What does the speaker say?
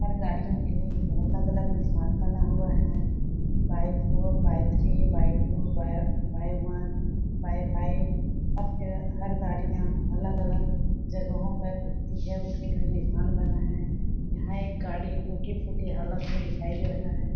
और गाड़िओ के लिए अलग- अलग निशान बना हुआ है by four by three by two by by one by five हर के हर गाड़िया अलग-अलग जगहों पर रूकती है उसके लिए निशान बना है यहाँ एक गाडी टूटी-फूटी हालत में दिखाई दे रहा है।